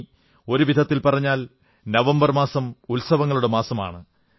തുടങ്ങി ഒരു വിധത്തിൽ പറഞ്ഞാൽ നവംബർ മാസം ഉത്സവങ്ങളുടെ മാസമാണ്